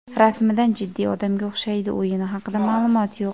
Rasmidan jiddiy odamga o‘xshaydi, o‘yini haqida ma’lumot yo‘q.